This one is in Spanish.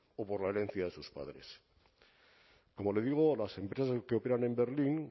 o por la herencia de sus padres como le digo las empresas que operan en berlín